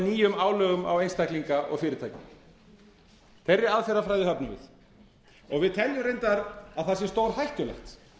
nýjum álögum á einstaklinga og fyrirtæki þeirri aðferðafræði höfnum við og við teljum reyndar að það sé stórhættulegt